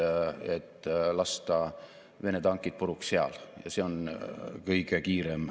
Me ei saa samas mööda vaadata tõsiasjast, et Eesti rahvastik vananeb ning aastaks 2035 kahaneb meie rahvastik prognoosi järgi 1,2 miljoni inimeseni.